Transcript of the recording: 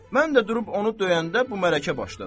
Mən də durub onu döyəndə bu mələkə başladı.